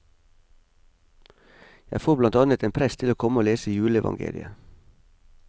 Jeg får blant annet en prest til å komme og lese juleevangeliet.